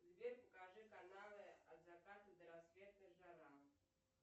сбер покажи каналы от заката до рассвета жара